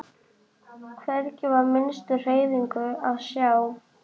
Hvergi var minnstu hreyfingu að sjá.